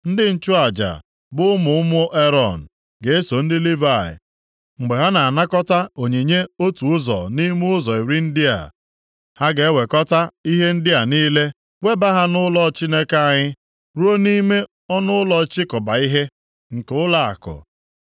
Ndị nchụaja bụ ụmụ ụmụ Erọn ga-eso ndị Livayị mgbe ha na-anakọta onyinye otu ụzọ nʼime ụzọ iri ndị a. Ha ga-ewekọta ihe ndị a niile webaa ha nʼụlọ Chineke anyị, ruo nʼime ọnụụlọ ịchịkọba ihe, + 10:38 Ọtụtụ ọnụụlọ nchịkọba ihe dị nʼogige ụlọnsọ ukwu ahụ. Ọ bụ nʼebe a ka a na-edebe ngwongwo niile dị nsọ. Gụọ ebe ndị a; \+xt 1Ih 9:26; 2Ih 31:11; Neh 13:7; Mal 3:10.\+xt* nke ụlọakụ.